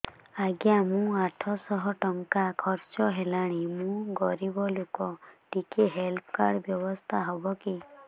ଆଜ୍ଞା ମୋ ଆଠ ସହ ଟଙ୍କା ଖର୍ଚ୍ଚ ହେଲାଣି ମୁଁ ଗରିବ ଲୁକ ଟିକେ ହେଲ୍ଥ କାର୍ଡ ବ୍ୟବସ୍ଥା ହବ କି